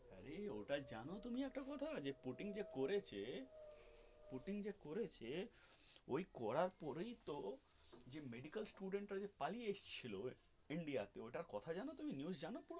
আরে ওটা জানো তুমি একটা কথা পুতিন যে করছে পুতিন যে করছে ওই করার পরে তো যে মেডিকেল স্কুল যে পালিয়ে এসেছিলো India তে ওটার কথা জানো তুমি news জানো.